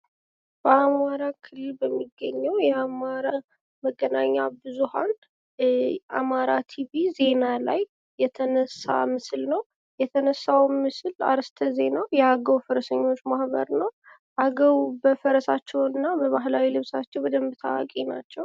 በአማራ ክልል በሚገኘው የአማራ መገናኛ ብዙሃን አማራ ቲቪ ዜና ላይ የተነሳ ምስል ነው። የተነሳውም ምስል አርእስተ ዜና የአገው ፈረሰኞች ማህበር ነው። አገው በፈረሳቸውና በባህላዊ ልብሳቸው በደንብ ታዋቂ ናቸው።